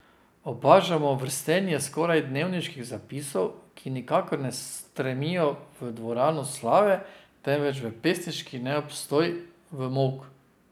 Opažamo vrstenje skoraj dnevniških zapisov, ki nikakor ne stremijo v dvorano slave, temveč v pesniški neobstoj, v molk.